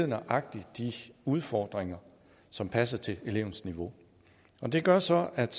nøjagtig de udfordringer som passer til elevens niveau og det gør så at